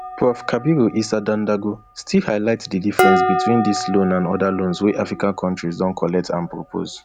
prof kabiru isa dandago still highlight di difference between dis loan and oda loans wey african kontris don collect and propose